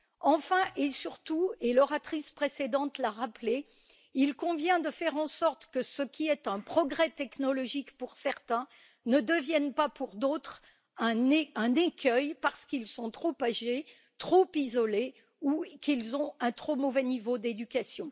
Enfin, et surtout l'oratrice précédente l'a rappelé il convient de faire en sorte que ce qui est un progrès technologique pour certains ne devienne pas pour d'autres un écueil, parce qu'ils sont trop âgés, trop isolés ou qu'ils ont un trop mauvais niveau d'éducation.